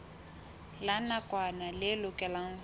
la nakwana le lokelwang ho